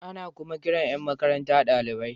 Ana kuma kiran Yan makaranta dalibai.